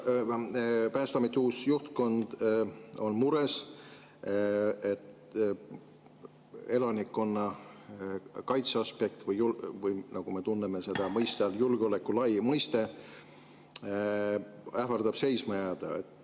Päästeameti uus juhtkond on mures, et elanikkonnakaitse – või nagu me tunneme seda julgeoleku laia mõiste all – ähvardab seisma jääda.